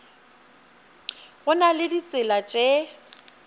go na le ditsela tše